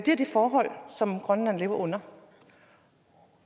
er de forhold som grønland lever under